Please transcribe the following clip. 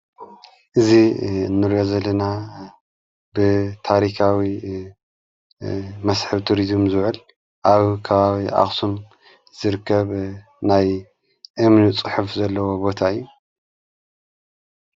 እዙ ንርያ ዘለና ብታሪካዊ መስሕብ ቱሪዝም ዙዕል ኣብ ካባዊ ኣኽስም ዝርከብ ናይ እምኑ ጽሑፍ ዘለዎ ቦታ እዩ።